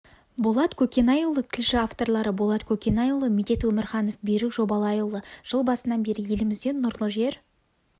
болат көкенайұлы тілші авторлары болат көкенайұлы медет өмірханов берік жобалайұлы жыл басынан бері елімізде нұрлы жер